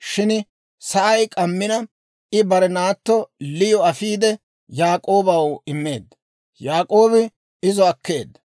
Shin sa'ay k'ammina, I bare naatto Liyo afiide Yaak'oobaw immeedda. Yaak'oobi izo akkeedda.